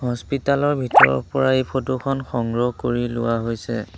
হস্পিটালৰ ভিতৰৰ পৰা এই ফটোখন সংগ্ৰহ কৰি লোৱা হৈছে।